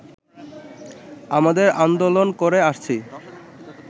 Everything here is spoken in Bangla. আমাদের আন্দোলন করে আসছি